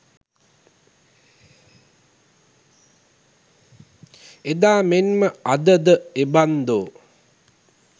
එදා මෙන් ම අද ද එබන්දෝ